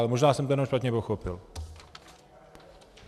Ale možná jsem to jen špatně pochopil.